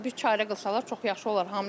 Yəni bir çarə qılsalar çox yaxşı olar.